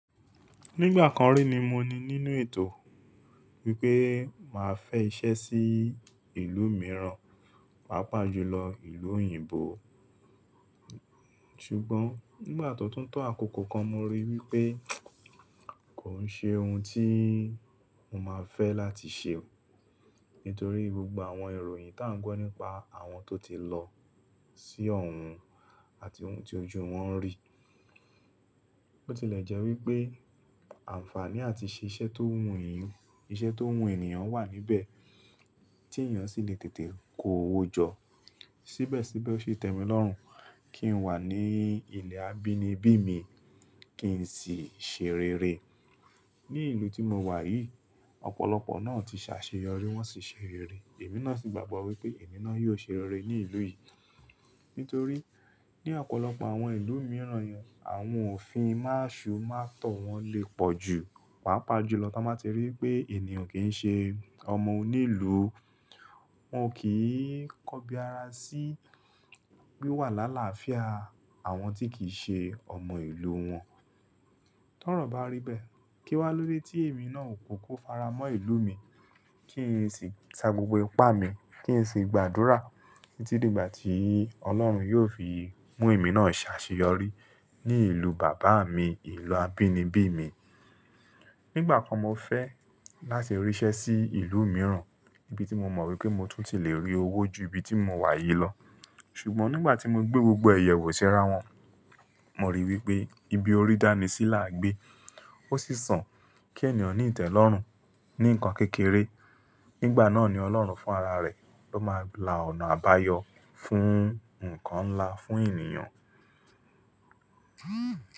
Nígbà kan rí ni mo ní nínú ètò wípé màá fẹ́ iṣẹ́ sí ìlú mìíràn, pàápàá jùlọ ìlú òyìnbó. Ṣùgbọ́n nígbà tó tún tó àkókò kan mo rí wípé kò ń ṣe ohun tí mo máa fẹ́ láti ṣe. Nítorí gbogbo àwọn ìròyìn tó ń gbọ́ nípa àwọn tó ti lọ sí ọ̀hun àti ohun tí ojú wọn ń rí. Ó ti lẹ jẹ́ wípé àǹfààní àti ṣé iṣẹ́ tó wú ènìyàn, iṣẹ́ tó wú ènìyàn wà níbẹ̀ tí ènìyàn sì lè tètè kó owó jọ. Síbẹ̀síbẹ̀ ó ṣi tẹ́mi lọ́rùn kí n wà ní ilẹ̀ abínibí mi kí n sì ṣèrere. Ní ìlú tí mo wà yìí, ọ̀pọ̀lọpọ̀ náà ti ṣàṣeyọrí, wọ́n sì ṣè rere. Èmi náà sì gbàgbọ́ wípé èmi náà yóò ṣè rere ní ìlú yìí. Nítorí ní ọ̀pọ̀lọpọ̀ àwọn ìlú mìíràn yẹn àwọn òfin máṣú mátọ̀ wọn lè pọ̀ jù, pàápàá jùlọ tí wọ́n bá ti rí i pé ènìyàn kì í ṣe ọmọ onílù. Wọn ò kí ń kọbi ara sí wíwà lálafía àwọn tí kì í ṣe ọmọ ìlú wọn. Tọ́rọ̀ bá rí bẹ́ẹ̀, kí wá lóde tí èmi náà ò kúkú faramọ́ ìlú mi, kí n sì sa gbogbo ipá mi, kí n sì gbàdúrà títí dìgbà tí Ọlọ́run yóò fi mú èmi náà ṣàṣeyọrí ní ìlú bàbá mi, ìlú abínibí mi. Nígbà kan mo fẹ́ láti rí iṣẹ́ sí ìlú mìíràn ibi tí mo mọ̀ wípé mo tún ti le rí owó jù ibi tí mo wà yìí lọ. Ṣùgbọ́n nígbà tí mo gbé gbogbo ẹ yẹ wò sí ara wọn, mo rí i wípé ibi orí dánísí là gbé, ó sì san kí ènìyàn ní ìtẹ́lọ́rùn ní nǹkan kékeré. Nígbà náà ni Ọlọ́run fún ara rẹ̀ ló máa la ọ̀nà àbáyọ fún nǹkan ńlá fún ènìyàn.